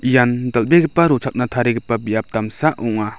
ian dal·begipa rochakna tarigipa biap damsa ong·a.